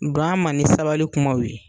Don a ma ni sabali kumaw ye.